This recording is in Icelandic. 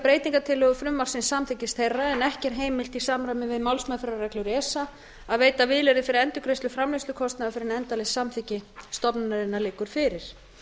breytingartillögur frumvarpsins samþykkis þeirra en ekki er heimilt í samræmi við málsmeðferðarreglur esa að veita vilyrði fyrir endurgreiðslu framleiðslukostnaðar fyrr en endanlegt samþykki stofnunarinnar liggur fyrir